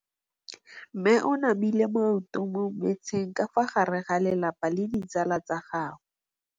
Mme o namile maoto mo mmetseng ka fa gare ga lelapa le ditsala tsa gagwe.